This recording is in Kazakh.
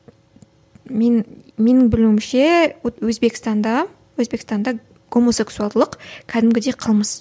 мен менің білуімше вот өзбекстанда өзбекстанда гомосекуалдылық кәдімгідей қылмыс